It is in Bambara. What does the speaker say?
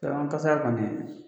kasaya ka